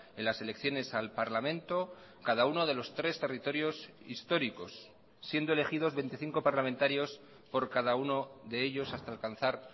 en las elecciones al parlamento cada uno de los tres territorios históricos siendo elegidos veinticinco parlamentarios por cada uno de ellos hasta alcanzar